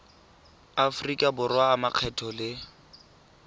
aforika borwa a makgetho le